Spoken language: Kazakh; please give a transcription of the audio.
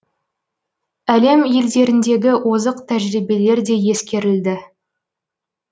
әлем елдеріндегі озық тәжірибелер де ескерілді